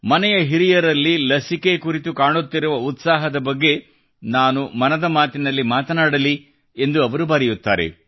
ಮನೆಯ ಹಿರಿಯರಲ್ಲಿ ಲಸಿಕೆ ಕುರಿತು ಕಾಣುತ್ತಿರುವ ಉತ್ಸಾಹದ ಬಗ್ಗೆ ನಾನು ಮನದ ಮಾತಿನಲ್ಲಿ ಮಾತನಾಡಲಿ ಎಂದು ಅವರು ಬರೆಯುತ್ತಾರೆ